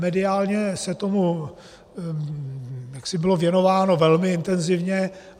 Mediálně se tomu bylo věnováno velmi intenzivně.